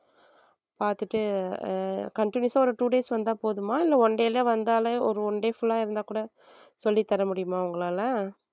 பாத்துட்டு அஹ் continous ஆ ஒரு two days வந்தா போதுமா இல்ல one day ல வந்தாலே ஒரு one day full ஆ இருந்தா கூட சொல்லி தர முடியுமா உங்களால